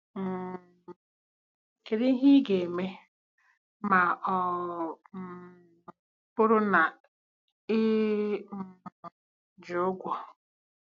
um Kedu ihe ị ga-eme ma ọ um bụrụ na ị um ji ụgwọ?